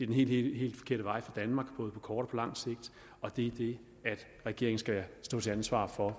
den helt helt forkerte vej for danmark både på kort og på lang sigt og det er det regeringen skal stå til ansvar for